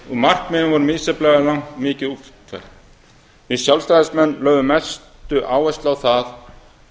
markmiðin voru misjafnlega mikið útfærð við sjálfstæðismenn lögðum mesta áherslu á það